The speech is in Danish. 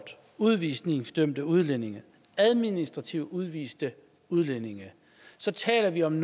udvisningsdømte udlændinge administrativt udviste udlændinge så taler vi om